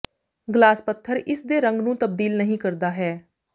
glass ਪੱਥਰ ਇਸ ਦੇ ਰੰਗ ਨੂੰ ਤਬਦੀਲ ਨਹੀ ਕਰਦਾ ਹੈ